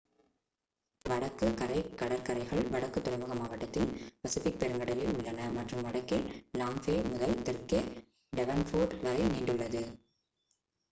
வடக்கு கரை கடற்கரைகள் வடக்கு துறைமுக மாவட்டத்தில் பசிபிக் பெருங்கடலில் உள்ளன மற்றும் வடக்கில் லாங் பே முதல் தெற்கே டெவன்போர்ட் வரை நீண்டுள்ளது